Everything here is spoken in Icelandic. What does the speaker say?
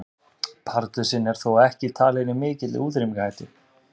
Pardusinn er þó ekki talinn í mikilli útrýmingarhættu.